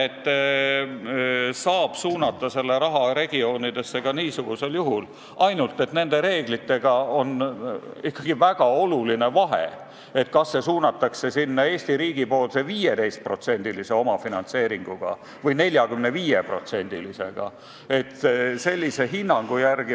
Seda raha saab suunata ka kaugematesse maakondadesse, ainult et nende reeglite puhul on ikkagi väga oluline vahe, et kas see suunatakse kuhugi Eesti riigi poolse 15%-lise omafinantseeringuga või 45%-lisega.